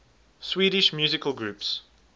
swedish musical groups